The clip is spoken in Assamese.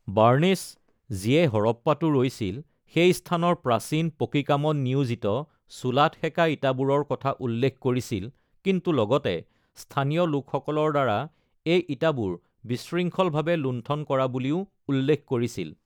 বাৰ্ণেছ, যিয়ে হৰপ্পাতো ৰৈছিল, সেই স্থানৰ প্ৰাচীন পকী কামত নিয়োজিত চুলাত সেকা ইটাবোৰৰ কথা উল্লেখ কৰিছিল কিন্তু লগতে স্থানীয় লোকসকলৰ দ্বাৰা এই ইটাবোৰ বিশৃংখলভাৱে লুণ্ঠন কৰা বুলিও উল্লেখ কৰিছিল।